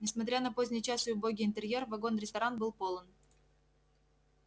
несмотря на поздний час и убогий интерьер вагон-ресторан был полон